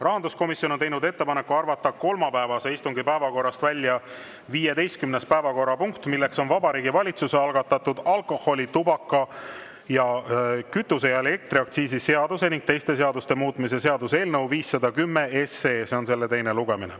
Rahanduskomisjon on teinud ettepaneku arvata kolmapäevase istungi päevakorrast välja 15. päevakorrapunkt, milleks on Vabariigi Valitsuse algatatud alkoholi‑, tubaka‑, kütuse‑ ja elektriaktsiisi seaduse ning teiste seaduste muutmise seaduse eelnõu 510 teine lugemine.